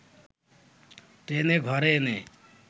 টেনে ঘরে এনে